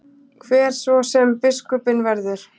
Hver svo sem biskupinn verður.